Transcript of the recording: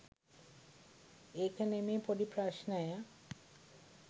ඒක නෙමේ පොඩී ප්‍රශ්නය